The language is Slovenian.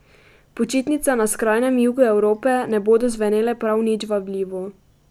Počitnice na skrajnem jugu Evrope ne bodo zvenele prav nič vabljivo.